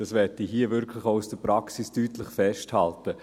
Dies möchte ich hier aus der Praxis deutlich festhalten.